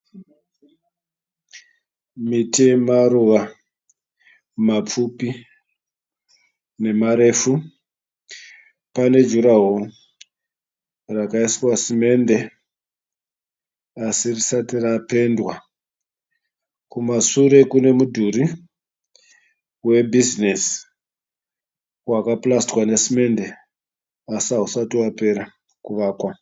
Miti yemaruva mapfupi nemarefu. Pane juraworo rakaiswa simende asi risati rapendwa. Kumashure kune mudhuri webhizinesi wakapurasitwa nesimende asi hausati wapera kuvakwa.